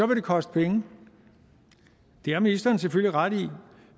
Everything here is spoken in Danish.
det koste penge det har ministeren selvfølgelig ret i